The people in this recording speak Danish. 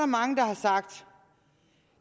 mange der har sagt